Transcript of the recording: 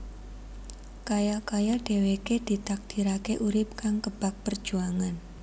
Kaya kaya dhèwèké ditakdiraké urip kang kebak perjuangan